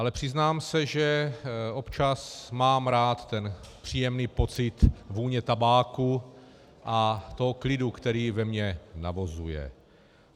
Ale přiznám se, že občas mám rád ten příjemný pocit vůně tabáku a toho klidu, který ve mně navozuje.